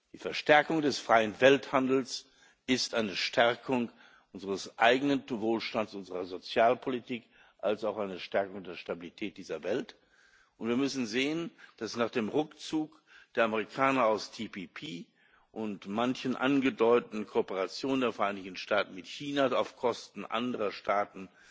Die Verstärkung des freien Welthandels ist eine Stärkung unseres eigenen Wohlstands, unserer Sozialpolitik als auch eine Stärkung der Stabilität dieser Welt, und wir müssen sehen, dass nach dem Rückzug der Amerikaner aus TPP und manchen angedeuteten Kooperationen der Vereinigten Staaten mit China auf Kosten anderer Staaten